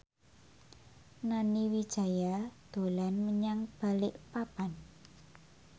Nani Wijaya dolan menyang Balikpapan